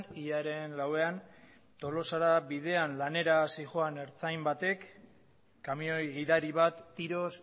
hilaren lauan tolosara bidean lanera zihoan ertzain batek kamioi gidari bat tiroz